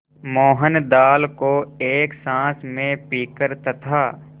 मोहन दाल को एक साँस में पीकर तथा